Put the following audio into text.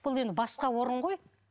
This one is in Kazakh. бұл енді басқа орын ғой